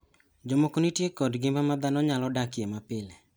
Jomoko nitie kod ngima ma dhano nyalo dakie mapile.